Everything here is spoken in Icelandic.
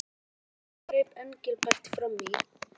Mig langaði greip Engilbert fram í.